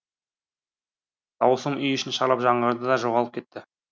дауысым үй ішін шарлап жаңғырды да жоғалып кетті